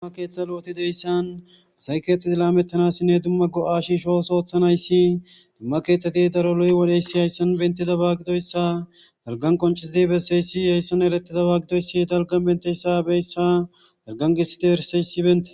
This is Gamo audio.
dumma keeththa lo7oti deyssan asay keexxedi laamettanassinne dumma go7a shiishoos oothanayssi dumma keeththeti daro loy wodheyssi hayssan bentida baaggidoyssa dalgan qoncisidi besseyssi yeyssan erettida baaggidoyssi dalgan benteyssabeyssa dargangissite herseyssi bente